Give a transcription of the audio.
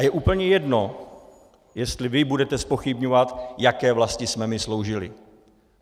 A je úplně jedno, jestli vy budete zpochybňovat, jaké vlasti jsme my sloužili.